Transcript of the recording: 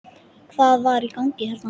Hvað var í gangi hérna?